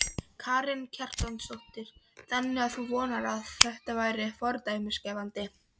Karen Kjartansdóttir: Þannig að þú vonar að þetta verði fordæmisgefandi?